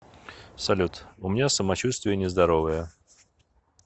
салют у меня самочувствие нездоровое